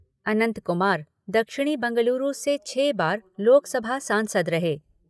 अनंत कुमार दक्षिणी बेंगलुरु से छः बार लोकसभा सांसद रहे।